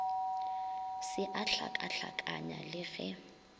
se a hlakahlakanya le ge